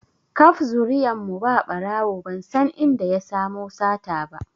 Kaf zuriyan mu ba ɓarawo ban san inda ya samo sata ba